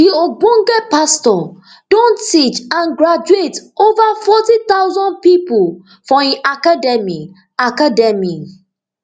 di ogbonge pastor don teach and graduate over forty thousand pipo for im academy academy